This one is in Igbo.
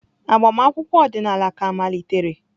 Agbamakwụkwọ ọdịnala ka malitere.